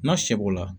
N'a seb'o la